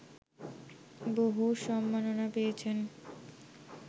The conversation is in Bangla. বহু সম্মাননা পেয়েছেন